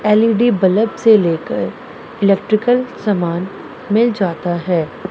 L E D bulb से लेकर electrical सामान मिल जाता है।